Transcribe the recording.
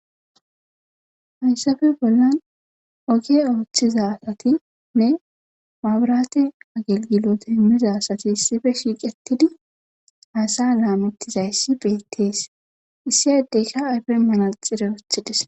Hayssappe bollan ogiya oothiza asatinne mabirate agilgilote imiza asati issippe shiiqetidi haasa'a laametizayssi beeteees. issi addekka ayfen manaxire wotidees.